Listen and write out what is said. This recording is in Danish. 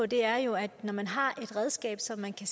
det er jo ikke sådan at det